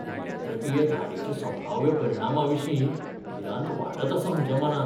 नियंत्रकीय धाडीच्या संभाव्य परिणामाविशीं भिरांत वाडत आसा म्हज्या मनांत.